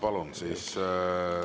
Palun!